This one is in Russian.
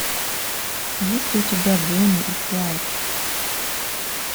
есть ли у тебя бони и клайд